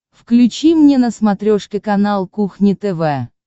включи мне на смотрешке канал кухня тв